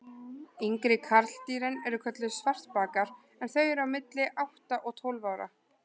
Yngri karldýrin eru kölluð svartbakar en þau eru á milli átta og tólf ára.